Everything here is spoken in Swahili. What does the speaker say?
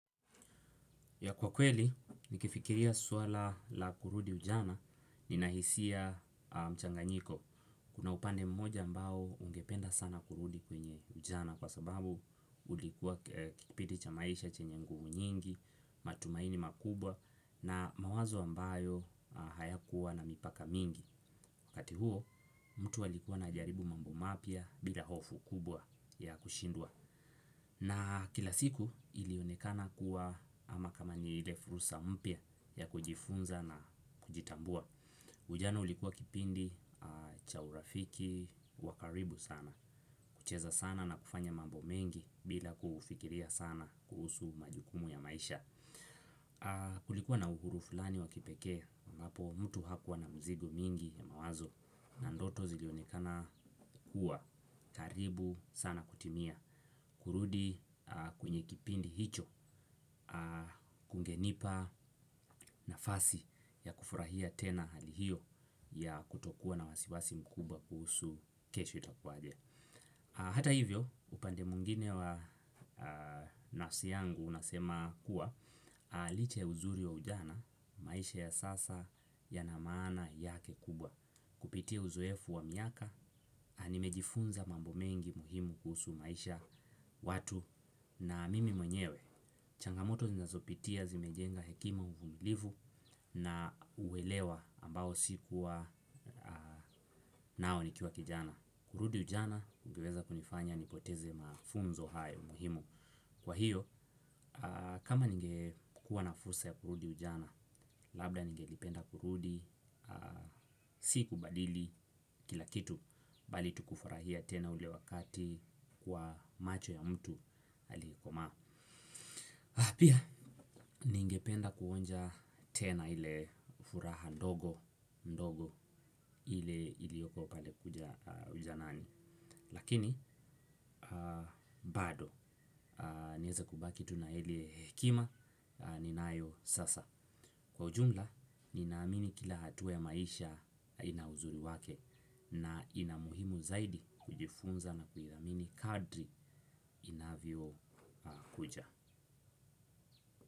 Kwa kweli, nikifikiria swala la kurudi ujana, nina hisia mchanganyiko. Kuna upande mmoja ambao ungependa sana kurudi kwenye ujana kwa sababu ulikuwa kipindi cha maisha chenye nguvu nyingi, matumaini makubwa na mawazo ambayo hayakuwa na mipaka mingi. Wakati huo, mtu alikuwa anajaribu mambo mapya bila hofu kubwa ya kushindwa. Na kila siku ilionekana kuwa ama kama ni ile fursa mpya ya kujifunza na kujitambua. Ujana ulikuwa kipindi cha urafiki wakaribu sana. Kucheza sana na kufanya mambo mengi bila kufikiria sana kuhusu majukumu ya maisha. Kulikuwa na uhuru fulani wakipekee ambapo mtu hakuwa na mzigo mingi ya mawazo. Na ndoto zilionekana kuwa karibu sana kutimia. Kurudi kwenye kipindi hicho kungenipa nafasi ya kufurahia tena hali hiyo ya kutokuwa na wasiwasi mkubwa kuhusu kesho itakuwaje. Hata hivyo upande mwingine wa nafsi yangu unasema kuwa licha ya uzuri wa ujana maisha ya sasa yana maana yake kubwa. Kupitia uzoefu wa miaka, nimejifunza mambo mengi muhimu kuhusu maisha, watu na mimi mwenyewe. Changamoto zinazopitia zimejenga hekima, uvumilivu na uwelewa ambao sikuwa nao nikiwa kijana. Kurudi ujana, ningeweza kunifanya nipoteze mafunzo hayo muhimu. Kwa hiyo, kama ningekuwa na fursa ya kurudi ujana, labda ngelipenda kurudi, siku badili kila kitu bali tukufurahia tena ule wakati kwa macho ya mtu alikomaa. Pia, ningependa kuonja tena ile furaha ndogo, ndogo ile ilioko pale ujanani. Lakini, bado, niweze kubaki tu na ile hekima ninayo sasa. Kwa ujumla, ninaamini kila hatua ya maisha ina uzuri wake na inamuhimu zaidi kujifunza na kuilamini kadri inavyo kuja.